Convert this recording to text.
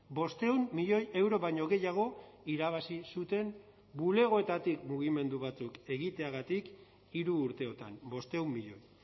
bostehun milioi euro baino gehiago irabazi zuten bulegoetatik mugimendu batzuk egiteagatik hiru urteotan bostehun milioi